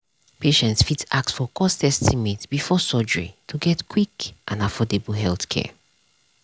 patients fit ask for cost estimate before surgery to get quick and affordable healthcare.